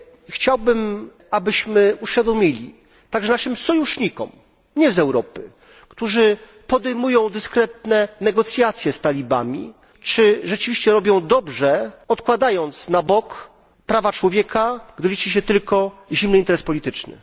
Chciałbym, abyśmy uświadomili także naszym sojusznikom spoza Europy, którzy podejmują dyskretne negocjacje z talibami, czy rzeczywiście robią dobrze, odkładając na bok prawa człowieka, gdy liczy się tylko zimny interes polityczny.